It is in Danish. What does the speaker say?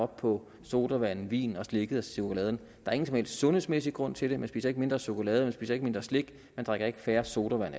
på sodavand vin slik og chokolade der er ingen som helst sundhedsmæssig grund til det man spiser ikke mindre chokolade man spiser ikke mindre slik og man drikker ikke færre sodavand